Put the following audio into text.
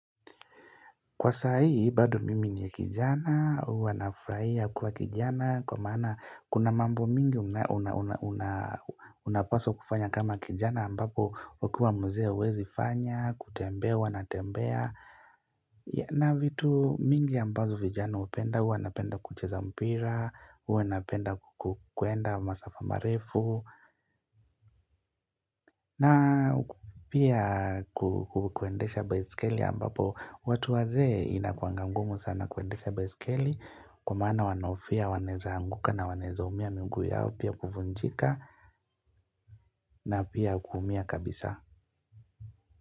Kwa sai, bado mimi ni kijana, huwa nafurahia kuwa kijana, kwa maana kuna mambo mingi unapaswa kufanya kama kijana ambapo ukiwa mzee huwezi fanya, kutembea, wanatembea. Na vitu mingi ambazo vijana hupenda, wanapenda kucheza mpira, wanapenda kukwenda masaa marefu na pia kukwendesha baisikeli ambapo watu wazee inakuanga ngumu sana kuendesha baisikeli Kwa maana wanahofia, wanaeza anguka na wanaezaumia miguu yao pia kuvunjika na pia kuumia kabisa.